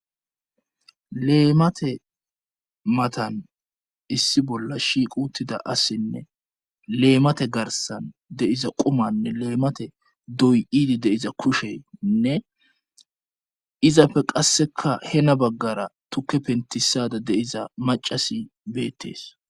leemate matan issi bolla shiq uttida assinne leemate garsan deiza qumanne leemate doy iidi deiza kusheinne izapfe qasseka hena baggara tuke pentisada deiza macasi beettees